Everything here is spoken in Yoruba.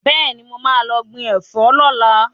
Bẹ́ẹ̀ni, mo máa lọ gbìn Ẹ̀fọ́ ni ọ̀la.